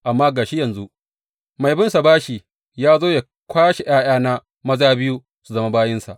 Amma ga shi yanzu mai binsa bashi ya zo yă kwashe ’ya’yana maza biyu su zama bayinsa.